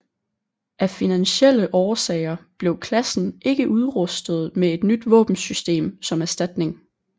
Af finansielle årsager blev klassen ikke udrustet med et nyt våbensystem som erstatning